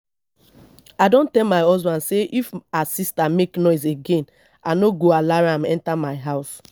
i don tell my husband say if her sister make noise again i no go allow am enter my house